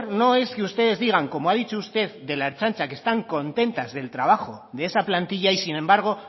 no es que ustedes digan como ha dicho usted de la ertzaintza que están contentas del trabajo de esa plantilla y sin embargo